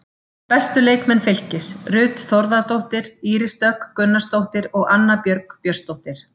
Bestu leikmenn Fylkis: Ruth Þórðardóttir, Íris Dögg Gunnarsdóttir og Anna Björg Björnsdóttir.